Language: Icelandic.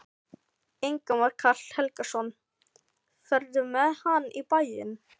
Ingimar Karl Helgason: Ferðu með hann í bæinn?